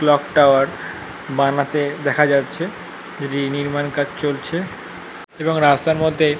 Clock tower. বানাতে দেখা যাচ্ছে। এটির নির্মাণ কাজ চলছে এবং রাস্তার মধ্যে --